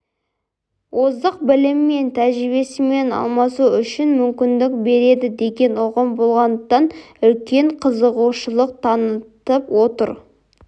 озық білімі мен тәжірибесімен алмасу үшін мүмкіндік береді деген ұғым болғандықтан үлкен қызығушылық танытып отыр